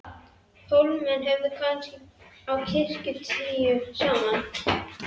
Hólamenn höfðu komist á kirkju tíu saman.